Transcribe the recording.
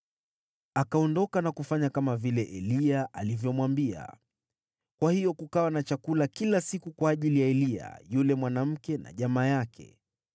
Akaondoka na kufanya kama Eliya alivyomwambia. Kwa hiyo kukawa na chakula kila siku kwa ajili ya Eliya, yule mwanamke na jamaa yake.